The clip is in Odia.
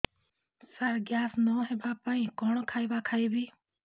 ସାର ଗ୍ୟାସ ନ ହେବା ପାଇଁ କଣ ଖାଇବା ଖାଇବି